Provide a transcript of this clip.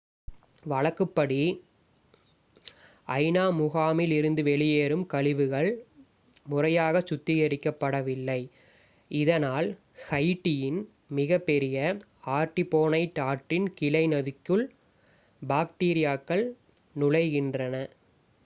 வழக்குப்படி ஐ.நா. முகாமில் இருந்து வெளியேறும் கழிவுகள் முறையாகச் சுத்திகரிக்கப்படவில்லை இதனால் ஹைட்டியின் மிகப்பெரிய ஆர்டிபோனைட் ஆற்றின் கிளை நதிக்குள் பாக்டீரியாக்கள் நுழைகின்றன